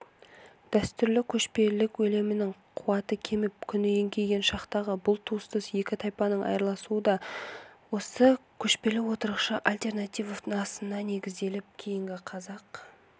дәстүрлі көшпелілік әлемінің қуаты кеміп күні еңкейген шақтағы бұл туыстас екі тайпаның айырылысуы да осы көшпелі-отырықшы альтернативасына негізделіп кейінгі қазақ